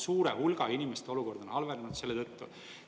Suure hulga inimeste olukord on halvenenud selle tõttu.